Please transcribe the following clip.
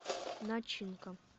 начинка